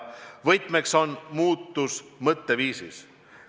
Võti peitub mõtteviisi muutuses.